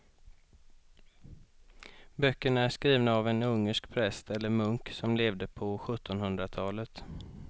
Böckerna är skrivna av en ungersk präst eller munk som levde på sjuttonhundratalet.